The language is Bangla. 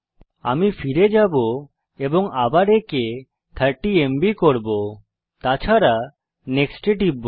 আমি ফিরে যাবো এবং আবার একে 30এমবি করব তাছাড়া NEXT এ টিপব